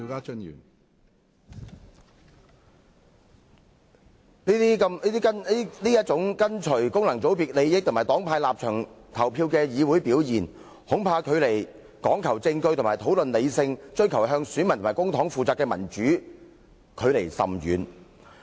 這種跟循功能界別利益和黨派立場投票的議會表現，恐怕與講求證據和討論的理性、追求向選民和公帑負責的民主，距離甚遠。